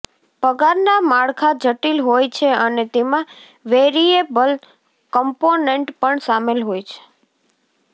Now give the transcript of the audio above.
પગારના માળખા જટિલ હોય છે અને તેમાં વેરિએબલ કમ્પોનન્ટ પણ સામેલ હોય છે